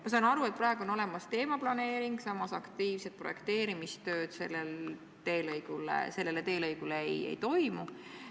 Ma saan aru, et praegu on olemas teemaplaneering, samas aktiivset projekteerimistööd selle teelõiguga seoses ei toimu.